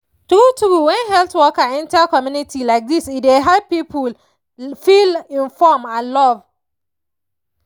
true true when health workers enter community like this e dey help people feel inform and love